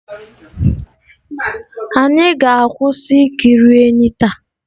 Anyị ga-akwụsị ikiri enyí taa.